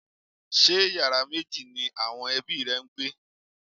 Ṣé yàrá méjì ni àwọn ẹbí rẹ ń gbé?